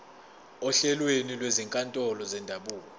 ohlelweni lwezinkantolo zendabuko